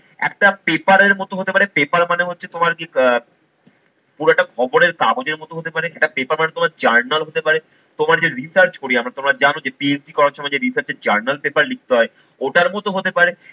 একটা paper এর মতো হতে পারে। paper মানে হচ্ছে তোমার কি আহ পুরোটা খবরের কাগজের মতো হতে পারে, সেটা paper আর তোমার journal হতে পারে, তোমার যে research করি আমরা তোমরা জানো যে PhD করার সময় যে research journal paper লিখতে হয় ওটার মতো হতে পারে